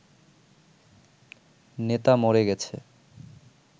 নেতা মরে গেছে